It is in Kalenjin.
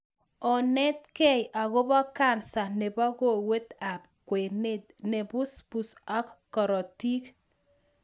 Onetkei akobo kansa nebo kowet ab kwenet ne busbus ak korotik